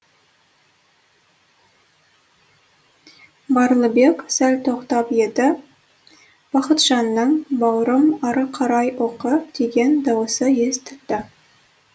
барлыбек сәл тоқтап еді бақытжанның бауырым ары қарай оқы деген дауысы естілді